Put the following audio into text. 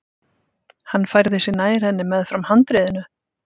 Hann færði sig nær henni meðfram handriðinu.